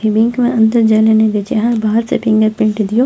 इ बैंक में अंदर जायले ने दे छै आहां बाहर से फिंगर प्रिंट दियो।